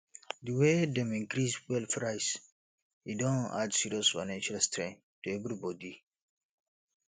di way dem increase fuel price e don add serious financial strain to everybodi